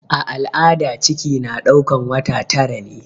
A al'ada ciki na ɗaukan wata tara ne.